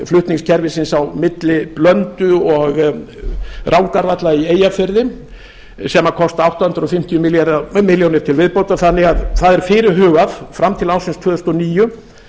flutningskerfisins á milli blöndu og rangárvalla í eyjafirði sem kosta átta hundruð fimmtíu milljónir til viðbótar þannig að það er fyrirhugað að fram til ársins tvö þúsund og níu